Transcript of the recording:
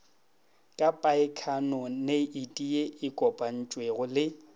ka paekhaponeiti ye kopantšwego le